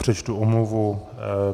Přečtu omluvu.